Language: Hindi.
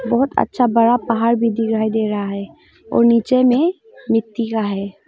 बहुत अच्छा बड़ा पहाड़ भी दिखाई दे रहा है और नीचे में मिट्टी का है।